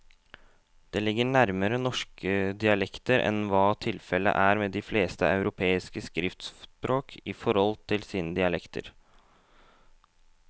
Det ligger nærmere norske dialekter enn hva tilfellet er med de fleste europeiske skriftspråk i forhold til sine dialekter.